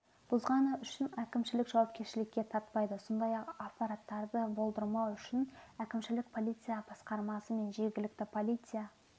бұзғаны үшін әкімшілік жауапкершілікке тартпайды сондай-ақ апаттарды болдырмау үшін әкімшілік полиция басқармасы мен жергілікті полиция